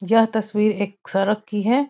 यह तस्वीर एक सड़क की है।